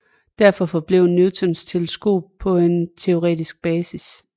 Derfor forblev Newtons teleskop på en teoretisk basis